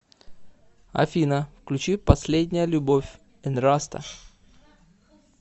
афина включи последняя любовь энраста